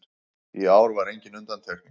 Í ár var engin undantekning